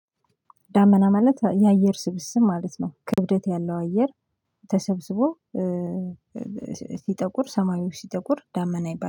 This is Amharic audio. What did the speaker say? ዳመና ማለት የአየር ስብስብ ማለት ነው። ክብደት ያለው አየር ተሰብስቦ ሲጠቁር ሰማዩ ሲጠቁር ዳመና ይባላል